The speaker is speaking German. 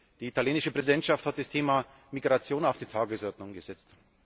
Die italienische Präsidentschaft hat das Thema Migration auf die Tagesordnung gesetzt.